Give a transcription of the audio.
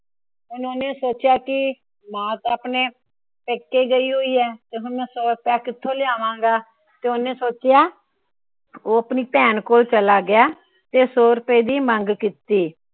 ਉਹਨੇ ਸੋਚਿਆ ਕਿ ਮਾਂ ਤਾਂ ਆਪਣੇ ਪੇਕੇ ਗਈ ਹੋਈ ਹੈ। ਤਾ ਹੁਣ ਮੈ ਸੋ ਰੁਪਇਆ ਕਿਥੋਂ ਲਿਆਵਾਂਗਾ। ਤੇ ਓਹਨੇ ਸੋਚਿਆ ਉਹ ਆਪਣੀ ਭੈਣ ਕੋਲ ਚਲਾ ਗਿਆ। ਤੇ ਸੋ ਰੁਪਏ ਦੀ ਮੰਗ ਕੀਤੀ।